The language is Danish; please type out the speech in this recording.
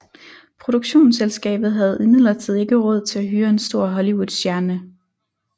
Produktionsselskabet havde imidlertid ikke råd til at hyre en stor Hollywoodstjerne